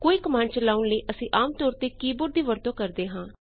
ਕੋਈ ਕਮਾੰਡ ਚਲਾਂਉਣ ਲਈ ਅਸੀਂ ਆਮ ਤੌਰ ਤੇ ਕੀ ਬੋਰਡ ਦੀ ਵਰਤੋਂ ਕਰਦੇ ਹਾਂ